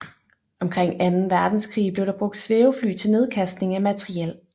Omkring anden verdenskrig blev der brugt svævefly til nedkastning af materiel